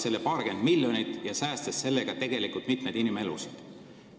Lisades paarkümmend miljonit, saaks sellega tegelikult säästa mitmeid inimelusid.